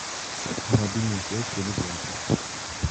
мобильная связь теле два